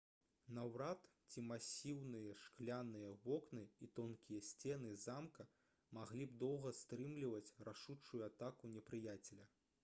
наўрад ці масіўныя шкляныя вокны і тонкія сцены замка маглі б доўга стрымліваць рашучую атаку непрыяцеля